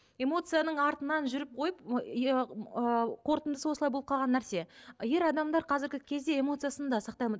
эмоцияның артынан жүріп қойып ы қорытындысы осылай болып қалған нәрсе ер адамдар қазіргі кезде эмоциясын да сақтай алмайды